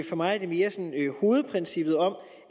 for mig er det mere hovedprincippet om